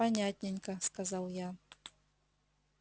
понятненько сказал я